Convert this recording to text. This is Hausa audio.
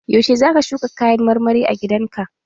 Yaushe zaka shuka kayan marmari a gidan ka?